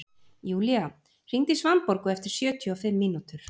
Julia, hringdu í Svanborgu eftir sjötíu og fimm mínútur.